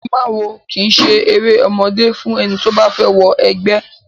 Ìfimáwo kìí eré ọmọdé fún ẹni tó bá fẹ́ wọ ẹgbẹ́.